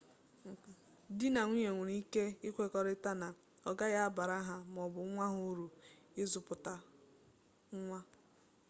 di na nwunye nwere ike ikwekọrịta na ọ gaghị abara ha maọbụ nwa ha uru ịzụpụta nwa